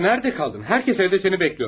Rodion, harada qaldın?